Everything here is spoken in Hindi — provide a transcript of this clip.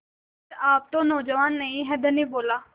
पर आप तो नौजवान नहीं हैं धनी बोला